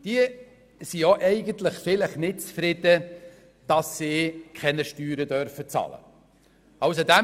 Die sind vielleicht ja nicht zufrieden, dass sie keine Steuern bezahlen dürfen.